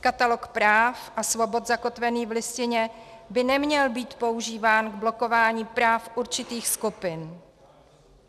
Katalog práv a svobod zakotvený v Listině by neměl být používán k blokování práv určitých skupin.